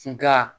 Nka